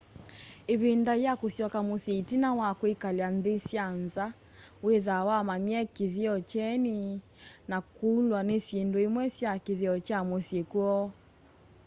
ivinda ya kusyoka musyi itina wa kkwikala nthi sya nza withaa wamanyie kithio kieni na kulwa ni syindu imwe sya kithio kya musyi kwoo